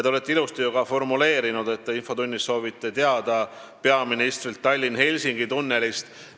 Te olete ju ilusasti formuleerinud, et te soovite infotunnis küsida peaministrilt Tallinna–Helsingi tunneli kohta.